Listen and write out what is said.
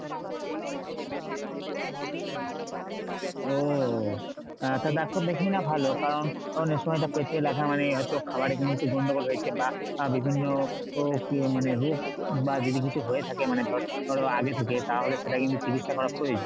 ও হ্যাঁ তা doctor দেখিয়ে নেয়া ভালো। কারণ কারণ এসময় এটা পেটে লাগা মানে হয়তো খাবারে কোনোকিছু গণ্ডগোল হয়েছে বা বিভিন্ন ও মানে রোগ বা যদি কিছু হয়ে থাকে মানে ধর ধরো আগে থেকে তাহলে সেটা কিন্তু চিকিৎসা করা প্রয়োজন।